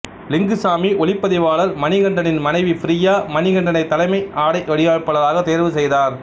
லிங்குசாமி ஒளிப்பதிவாளர் மணிகண்டனின் மனைவி பிரியா மணிகண்டனை தலைமை ஆடை வடிவமைப்பாளராக தேர்வு செய்தார்